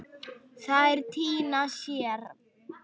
Þær týna sér.